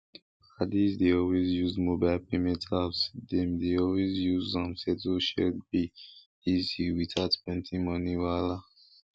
padis dey always use mobile payment apps dem dey always use am settle shared bills easy without plenty money wahala